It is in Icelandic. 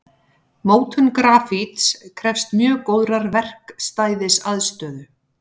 Mótun grafíts krefst mjög góðrar verkstæðisaðstöðu.